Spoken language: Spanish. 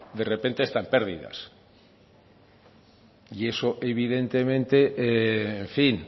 de repente está en pérdidas eso evidentemente en fin